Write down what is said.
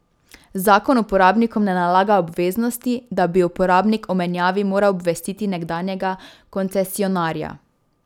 Zakon uporabnikom ne nalaga obveznosti, da bi uporabnik o menjavi moral obvestiti nekdanjega koncesionarja.